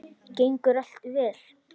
Gengur allt vel?